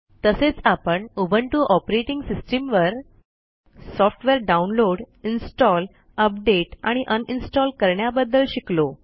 तसेच आपण Ubuntu operating system वर सॉफ्टवेअर डाउनलोड इन्स्टॉल अपडेट आणि un इन्स्टॉल करण्याबद्दल शिकलो